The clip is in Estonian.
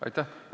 Aitäh!